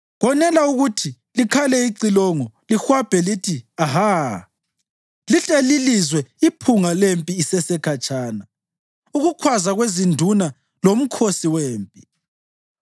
Konela ukuthi likhale icilongo lihwabhe lithi, ‘Aha!’ Lihle lilizwe iphunga lempi isesekhatshana, ukukhwaza kwezinduna lomkhosi wempi.